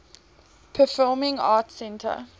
performing arts center